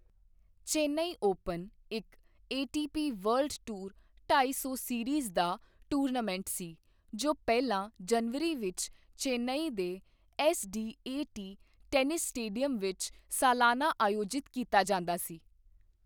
Open ਇੱਕ ATP world tour ਢਾਈ ਸੌ ਸੀਰੀਜ਼ ਦਾ ਟੂਰਨਾਮੈਂਟ ਸੀ ਜੋ ਪਹਿਲਾਂ ਜਨਵਰੀ ਵਿੱਚ ਚੇਨਈ ਦੇ ਐੱਸਡੀਏਟੀ ਟੈਨਿਸ ਸਟੇਡੀਅਮ ਵਿੱਚ ਸਾਲਾਨਾ ਆਯੋਜਿਤ ਕੀਤਾ ਜਾਂਦਾ ਸੀ।